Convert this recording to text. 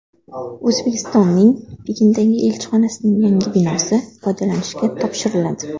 O‘zbekistonning Pekindagi elchixonasining yangi binosi foydalanishga topshiriladi.